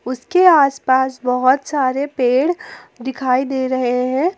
उसके आसपास बहुत सारे पेड़ दिखाई दे रहे हैं।